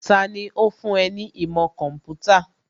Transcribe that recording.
Tani ó fún ẹ ní ìmọ̀ kọ̀ḿpútà?